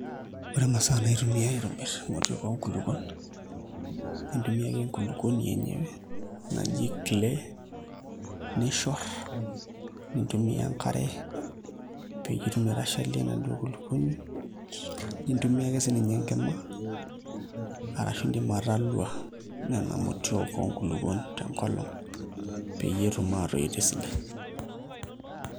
Ore imasaa naitumiae aitobir emoti oonkulukun intumia ake enkulupuni enyewe naji clay nishor nitumiya enkare pee itumoki aitashalie enaduo kulumuni intumiya ake sininye enkima arashu indilm atalua Nena motii oonkulupun tenkolong peetumokj ashomoita